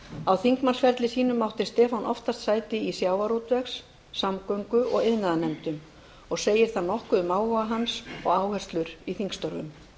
á þingmannsferli sínum átti stefán oftast sæti í sjávarútvegs samgöngu og iðnaðarnefndum og segir það nokkuð um áhuga hans og áherslur í þingstörfum